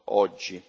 oggi.